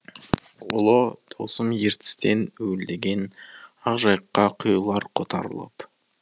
ұлы даусым ертістен уілдеген ақ жайыққа құйылар қотарылып